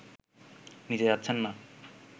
নিজে যাচ্ছেন না